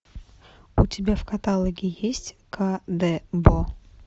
у тебя в каталоге есть ка де бо